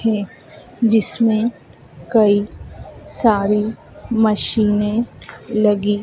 है जिसमें कई सारी मशीनें लगी--